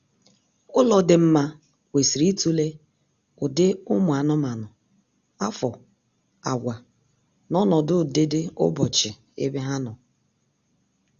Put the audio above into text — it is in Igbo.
Ụlọ dị mma kwesịrị itule ụdị ụmụ anụmanụ, afo, àgwà, na ọnọdụ ụdịdịụbọchị ebe ha nọ